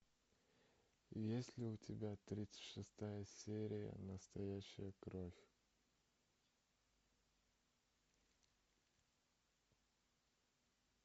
есть ли у тебя тридцать шестая серия настоящая кровь